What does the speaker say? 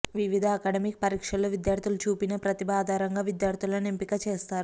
వివిధ అకడమిక్ పరీక్షల్లో విద్యార్థులు చూపిన ప్రతిభ ఆధారంగా విద్యార్థులను ఎంపిక చేస్తారు